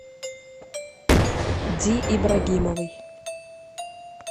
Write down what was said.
ди ибрагимовой